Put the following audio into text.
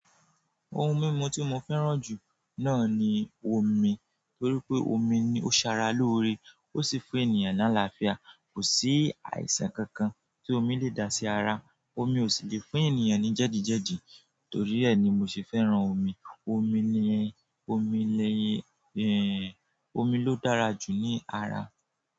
Ohun mímu tí mo fẹ́ràn jù náà ni omi torí pé omi ní ó ṣara lóore ó sì fún ènìyàn ní àlàáfíà. Kò sí àìsàn kankan tí omi lè dá sí ara. Omi ò sì lè fún ènìyàn ní jẹ́dìjẹ́dìí. Torí ẹ́ ni mo sì fẹ́ràn omi. Omi ni, omi le, omi ló dára jù ní ara.